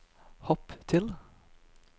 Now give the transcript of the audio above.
hopp til